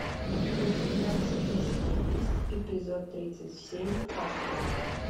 у тебя в списке есть эпизод тридцать семь фарго